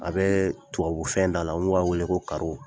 A bɛ tubabu fɛn da la n'o b'a wele ko